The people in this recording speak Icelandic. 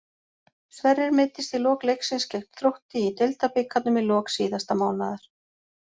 Sverrir meiddist í lok leiksins gegn Þrótti í Deildabikarnum í lok síðasta mánaðar.